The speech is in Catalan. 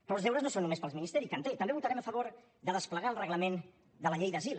però els deures no són només per al ministeri que en té també votarem a favor de desplegar el reglament de la llei d’asil